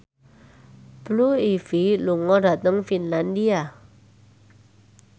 Blue Ivy lunga dhateng Finlandia